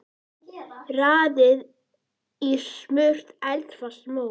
Raðið í smurt eldfast mót.